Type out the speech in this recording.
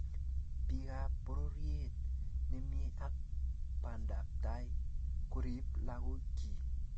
Bikap pororiet nemie ak bandaptai korib lagokchi